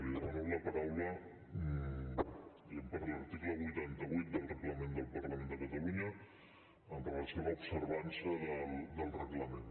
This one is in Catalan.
li demano la paraula diguem ne per l’article vuitanta vuit del reglament del parlament de catalunya amb relació a l’observança del reglament